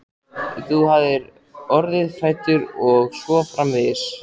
Þú hafir orðið hræddur og svo framvegis.